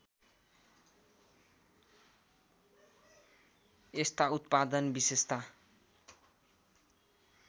यस्ता उत्पादन विशेषत